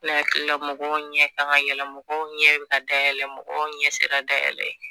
Ne hakilila mɔgɔ ɲɛ kan ka yɛlɛ, mɔgɔ ɲɛ bi ka dayɛlɛ mɔgɔw ɲɛ sera dayɛlɛ ye